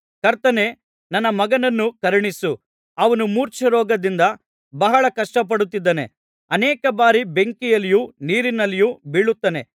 ಕರ್ತನೇ ನನ್ನ ಮಗನನ್ನು ಕರುಣಿಸು ಅವನು ಮೂರ್ಛೆರೋಗದಿಂದ ಬಹಳ ಕಷ್ಟಪಡುತ್ತಿದ್ದಾನೆ ಅನೇಕ ಬಾರಿ ಬೆಂಕಿಯಲ್ಲಿಯೂ ನೀರಿನಲ್ಲಿಯೂ ಬೀಳುತ್ತಾನೆ